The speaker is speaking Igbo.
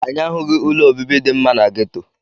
Anyị ahụghị ụlọ obibi dị mma na geto.